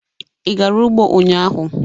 Ị gara ugbo ụnyahụ?